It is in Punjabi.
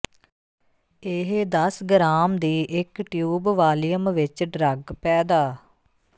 ਇਹ ਦਸ ਗ੍ਰਾਮ ਦੀ ਇੱਕ ਟਿਊਬ ਵਾਲੀਅਮ ਵਿੱਚ ਡਰੱਗ ਪੈਦਾ